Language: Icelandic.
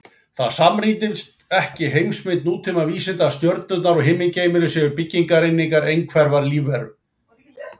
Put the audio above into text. Það samrýmist ekki heimsmynd nútíma vísinda að stjörnurnar og himingeimurinn séu byggingareiningar einhverrar lífveru.